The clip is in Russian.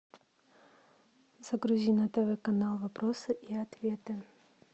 загрузи на тв канал вопросы и ответы